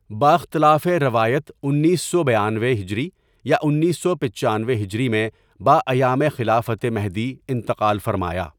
باختلافِ روایت انیس سو بیانوے ہجری یا انیس سو پچانوے ہجری میں باایامِ خلافتِ مہدی انتقال فرمایا.